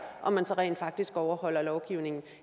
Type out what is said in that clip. om man rent faktisk overholder lovgivningen